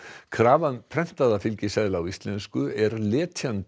krafa um prentaða fylgiseðla á íslensku er letjandi